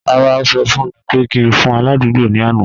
Rara, o sọ fun mi pe ki n fun aladugbo ni ana.